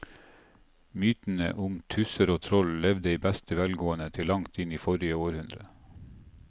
Mytene om tusser og troll levde i beste velgående til langt inn i forrige århundre.